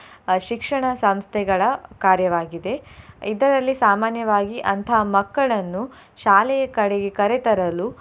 ಅಹ್ ಶಿಕ್ಷಣ ಸಂಸ್ಥೆಗಳ ಕಾರ್ಯಾವಾಗಿದೆ. ಇದರಲ್ಲಿ ಸಾಮಾನ್ಯವಾಗಿ ಅಂತಹ ಮಕ್ಕಳನ್ನು ಶಾಲೆಯ ಕಡೆಗೆ ಕರೆ ತರಲು.